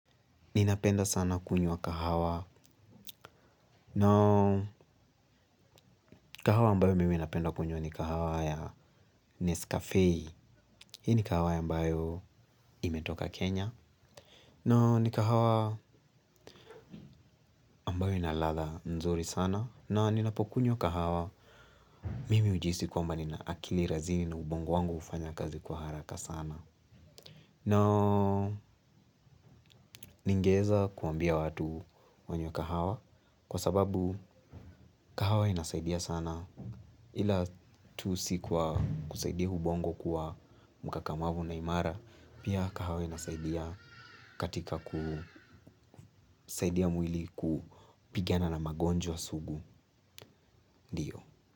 Ninapenda sana kunywa kahawa na kahawa ambayo mimi napenda kunywa ni kahawa ya Nescafe. Hii ni kahawa ambayo imetoka Kenya. Na ni kahawa ambayo ina ladha nzuri sana. Na ninapokunywa kahawa mimi hujihisi kwamba nina akili rasmi na ubongo wangu hufanya kazi kwa haraka sana. Na ningeweza kuambia watu wanywe kahawa kwa sababu kahawa inasaidia sana. Ila tu si kwa kusaidia ubongo kuwa mkakamavu na imara pia kahawa inasaidia katika kusaidia mwili kupigana na magonjwa sugu ndiyo.